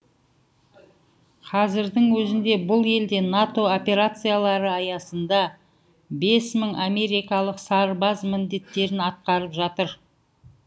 қазірдің өзінде бұл елде нато операциялары аясында бес мың америкалық сарбаз міндеттерін атқарып жатыр